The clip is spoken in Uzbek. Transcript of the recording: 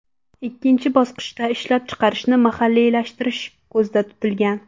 Ikkinchi bosqichda ishlab chiqarishni mahalliylashtirish ko‘zda tutilgan.